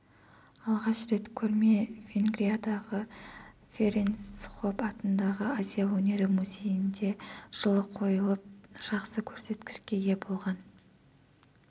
алғаш рет көрме венгриядағы ференц хопп атындағы азия өнері музейінде жылы қойылып жақсы көрсеткішке ие болған